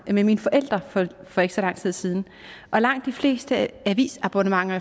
med mine forældre for ikke så lang tid siden og langt de fleste avisabonnementer